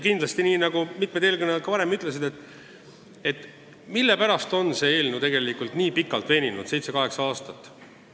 Mitu eelkõnelejat ütles, mille pärast on see eelnõu nii pikalt veninud, lausa seitse-kaheksa aastat.